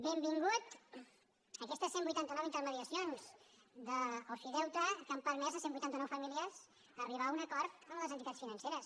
benvingudes aquestes cent i vuitanta nou intermediacions d’ofideute que han permès a cent i vuitanta nou famílies arribar a un acord amb les entitats financeres